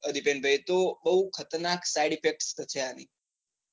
દિપેનભાઈ તો બૌ ખતરનાક side effect થશે આની.